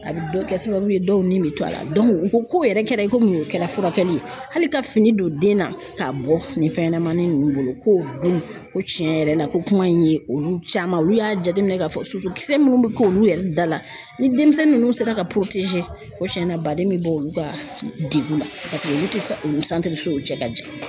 A bɛ kɛ sababu ye dɔw ni bɛ to a la u ko ko yɛrɛ kɛra komi o kɛra furakɛli ye hali ka fini don den na k'a bɔ nin fɛn ɲɛnamani ninnu bolo ko don ko tiɲɛ yɛrɛ la ko kuma in ye olu caman olu y'a jateminɛ k'a fɔ su kisɛ minnu bɛ k'olu yɛrɛ dala ni denmisɛnnin ninnu sera ka cɛn na baden bɛ bɔ olu ka degun la olu tɛ olu o cɛ ka jan.